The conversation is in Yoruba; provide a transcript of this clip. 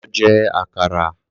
Lọ jẹ àkàrà